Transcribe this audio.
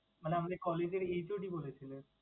মানে আমাদের collage এর HOD বলেছিলেন।